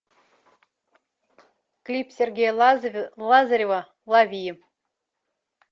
клип сергея лазарева лови